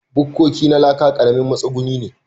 Bukkoki na laka ƙaramin matsuguni ne.